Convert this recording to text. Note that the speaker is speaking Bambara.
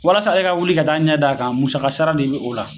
Walasa ale ka wuli ka taa ɲɛ da a kan , musaka sara de bɛ o la!